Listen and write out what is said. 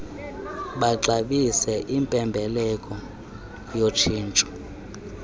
baxabise impembelelo yotshintsho